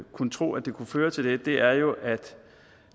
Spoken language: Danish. kunne tro at det kunne føre til det er jo at